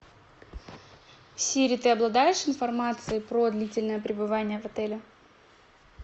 сири ты обладаешь информацией про длительное пребывание в отеле